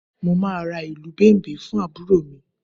Mo máa ra ìlù Bẹ̀m̀bẹ̀ fún àbúrò mi